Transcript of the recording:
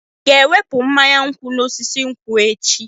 Ị ga-ewepụ mmanya nkwụ n'osisi nkwu echi?